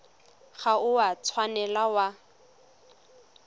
ga o a tshwanela wa